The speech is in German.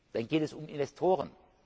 Dann geht es um Investoren.